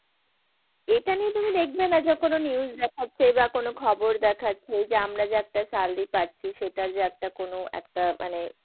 এইটা নিয়ে তুমি দেখবে না যে কোন news দেখাচ্ছে বা কোন খবর দেখাচ্ছে। যে আমরা যে একটা salary পাচ্ছি সেটা যে একটা কোন একটা মানে,